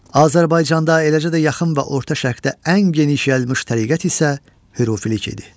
Azərbaycanda, eləcə də yaxın və orta şərqdə ən geniş yayılmış təriqət isə hürfülük idi.